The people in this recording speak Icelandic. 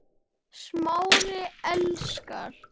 Smári elskar